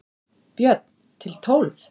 Björn: Til tólf?